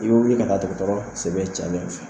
I bɛ wili ka taa dɔgɔtɔrɔ la sɛbɛn cayalen fɛ